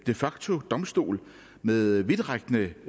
de facto en domstol med vidtrækkende